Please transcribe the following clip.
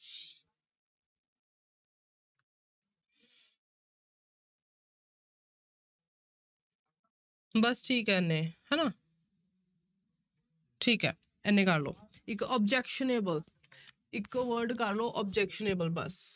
ਬਸ ਠੀਕ ਹੈ ਇੰਨੇ ਹਨਾ ਠੀਕ ਹੈ ਇੰਨੇ ਕਰ ਲਓ ਇੱਕ objectionable ਇੱਕ word ਕਰ ਲਓ objectionable ਬਸ